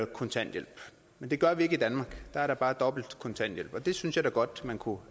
kontanthjælp det gør vi ikke i danmark der er der bare dobbelt kontanthjælp og det synes jeg da godt man kunne